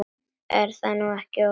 Er það nú ekki ofsagt?